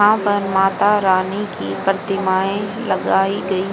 यहां पर माता रानी की प्रतिमाएं लगाई गई--